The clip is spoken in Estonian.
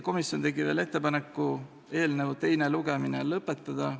Komisjon tegi veel ettepaneku eelnõu teine lugemine lõpetada.